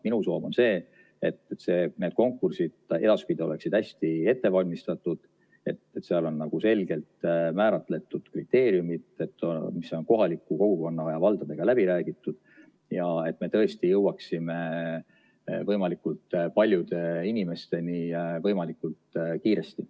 Minu soov on see, et need konkursid edaspidi oleksid hästi ette valmistatud, et seal oleks selgelt määratletud kriteeriumid, mis on kohaliku kogukonna ja valdadega läbi räägitud, ja et me tõesti jõuaksime võimalikult paljude inimesteni võimalikult kiiresti.